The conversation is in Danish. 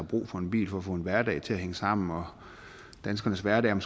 brug for en bil for at få en hverdag til at hænge sammen og danskernes hverdag